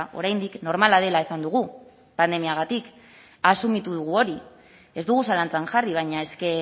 oraindik normala dela esan dugu pandemiagatik asumitu dugu hori ez dugu zalantzan jarri baina eske